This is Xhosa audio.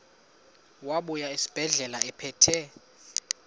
wabuya esibedlela ephethe